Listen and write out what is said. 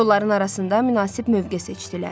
Kolların arasında münasib mövqe seçdilər.